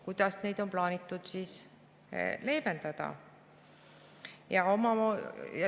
Kuidas neid on plaanitud leevendada?